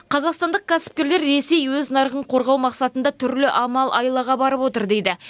қазақстандық кәсіпкерлер ресей өз нарығын қорғау мақсатында түрлі амал айлаға барып отыр дейді